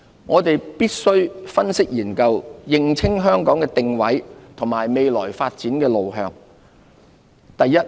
我們必須分析研究，認清香港的定位和未來發展路向。